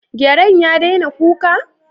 Gyaren ya daina kuka?